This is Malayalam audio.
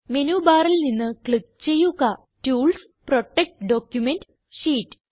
മെനു ബാറിൽ നിന്ന് ക്ലിക്ക് ചെയ്യുക ടൂൾസ് പ്രൊട്ടക്ട് ഡോക്യുമെന്റ് ഷീറ്റ്